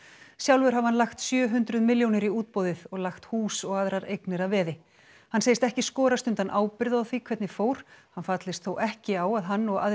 sjálfur hafi hann lagt sjö hundruð milljónir í útboðið og lagt hús og aðrar eignir að veði hann segist ekki skorast undan ábyrgð á því hvernig fór hann fallist þó ekki á að hann og aðrir